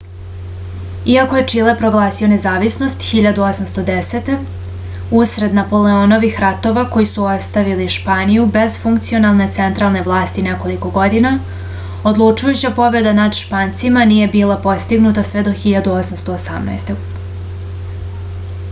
иако је чиле прогласио независност 1810. усред наполеонових ратова који су оставили шпанију без функционалне централне власти неколико година одлучујућа победа над шпанцима није била постигнута све до 1818